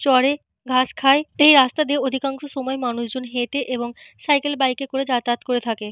চড়ে ঘাস খায়। এই রাস্তা দিয়ে অধিকাংশ সময় মানুষজন হেঁটে এবং সাইকেল বাইক এ করে যাতায়াত করে থাকে।